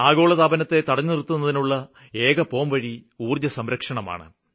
ആഗോളതാപനത്തെ തടഞ്ഞുനിര്ത്തുന്നതിനുള്ള ഏകപോംവഴി ഊര്ജ്ജസംരക്ഷണമാണ്